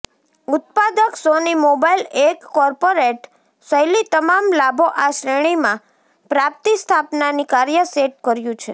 ઉત્પાદક Sony mobile એક corporate શૈલી તમામ લાભો આ શ્રેણીમાં પ્રાપ્તિસ્થાપનાની કાર્ય સેટ કર્યું છે